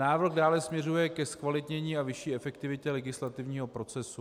Návrh dále směřuje ke zkvalitnění a vyšší efektivitě legislativního procesu.